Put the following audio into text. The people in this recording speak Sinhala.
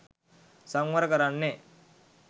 සංවර කරන්නේ